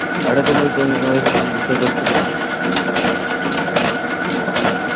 ആടൊക്കെ പോയിട്ട് അങ്ങനെ ഓരോ reels ഒക്കെ എടുത്തു കാണും